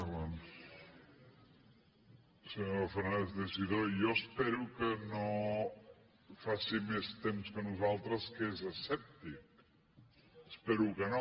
senyor fernández teixidó jo espero que no faci més temps que nosaltres que és escèptic espero que no